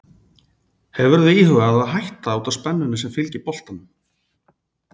Hefurðu íhugað að hætta út af spennunni sem fylgir boltanum?